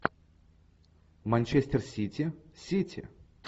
манчестер сити сити